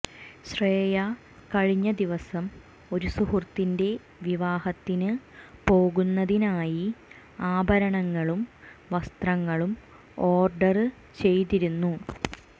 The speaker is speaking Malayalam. ശ്രേയ കഴിഞ്ഞ ദിവസം ഒരു സുഹൃത്തിന്റെ വിവാഹത്തിന് പോകുന്നതിനായി ആഭരണങ്ങളും വസ്ത്രങ്ങളും ഓര്ഡര് ചെയ്തിരുന്നു